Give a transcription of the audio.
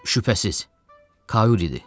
Şübhəsiz, Kaul idi.